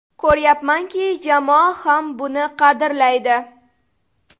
Ko‘ryapmanki, jamoa ham buni qadrlaydi.